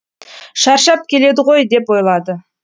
шаршап келеді ғой деп ойлады